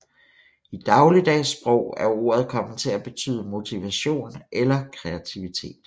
I dagligdags sprog er ordet kommet til at betyde motivation eller kreativitet